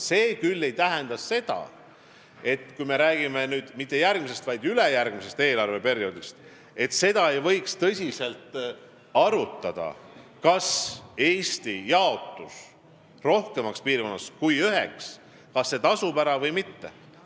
See ei tähenda küll seda, et kui me räägime mitte järgmisest, vaid ülejärgmisest eelarveperioodist, siis ei võiks tõsiselt arutada, kas Eesti jaotus mitmeks piirkonnaks tasuks ära või mitte.